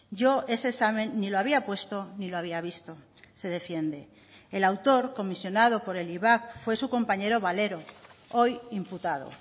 yo ese examen ni lo había puesto ni lo había visto se defiende el autor comisionado por el ivap fue su compañero valero hoy imputado